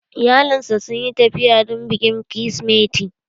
Iyalinsa sun yi tafiya don bikin krismeti